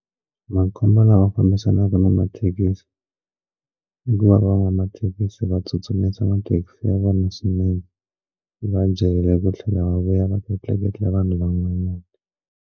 Makhombo lawa fambisanaka na mathekisi hikuva van'wamathekisi va tsutsumisa mathekisi ya vona swinene va jahele ku tlhela va vuya va ta tleketla vanhu van'wanyana.